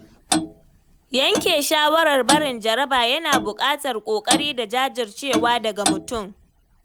Yanke shawarar barin jaraba yana buƙatar ƙoƙari da jajircewa daga mutum.